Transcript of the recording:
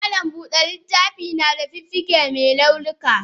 Malam Buda littafi nada fuffuke me launuka.